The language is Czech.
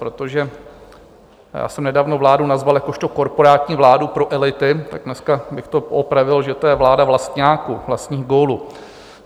Protože já jsem nedávno vládu nazval jakožto korporátní vládu pro elity, tak dneska bych to poopravil, že to je vláda vlastňáků, vlastních gólů.